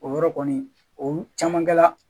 O yɔrɔ kɔni o caman kɛla